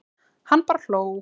Hann bara hló.